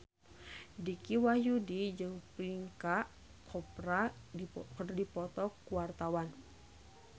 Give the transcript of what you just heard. Dicky Wahyudi jeung Priyanka Chopra keur dipoto ku wartawan